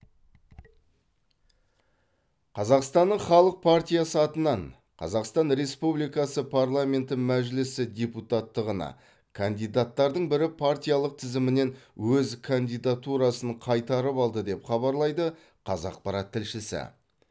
қазақстанның халық партиясы атынан қазақстан республикасы парламенті мәжілісі депутаттығына кандидаттардың бірі партиялық тізімінен өз кандидатурасын қайтарып алды деп хабарлайды қазақпарат тілшісі